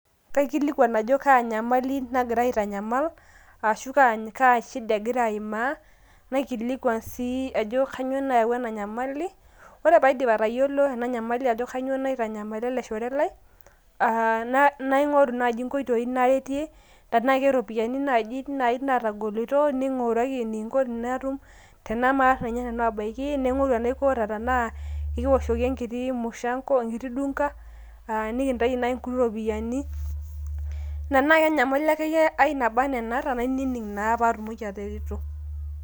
kaikilikwan ajo kaa nyamali nagira aitanyamal ashu kaa shida egira aimaa ,naikilikwan sii ajo kainyioo nayawua ena nyamali .ore paidip atayiolo ena nyamali ajo kainyioo naitanyamala ele shore lai aa naingoru nai nkoitoi naretie. tenaa keropiyiani naji natogolito, ninguraki enikinko tenatum, tenemaata ninye nanu abaiki ,naingoru enaiko ata tanaa ekiwoshoki enkiti mushango ,enkiti dunga aa nikintaiki nai nkuti nopiyiani ,nna nai nyamali naba ana enaata nainining naa patmoki atareto.